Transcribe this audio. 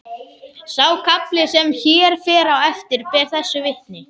Sá kafli sem hér fer á eftir ber þessu vitni: